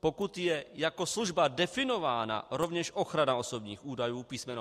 Pokud je jako služba definována rovněž ochrana osobních údajů písm.